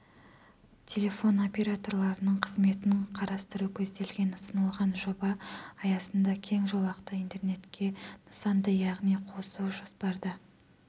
телефон операторларының қызметін қарастыру көзделген ұсынылған жоба аясында кең жолақты интернетке нысанды яғни қосу жоспарда